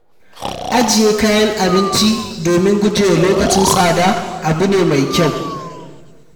Ajiye kayan abinci da domin gujewa lokacin tsada abu ne mai kyau.